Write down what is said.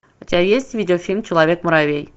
у тебя есть видеофильм человек муравей